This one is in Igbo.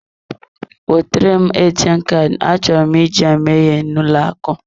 Wetere m ATM Kaadị, achọrọ m iji ya mee ihe n'ụlọ akụ.